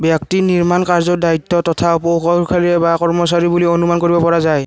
ব্যক্তি নিৰ্মাণ কাৰ্যৰ দায়িত্ব তথা কৌশলকাৰি বা কৰ্মচাৰী বুলি অনুমান কৰিব পৰা যায়।